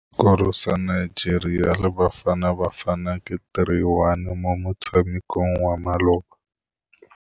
Sekôrô sa Nigeria le Bafanabafana ke 3-1 mo motshamekong wa malôba.